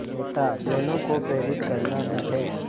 नेता दोनों को प्रेरित करना भी है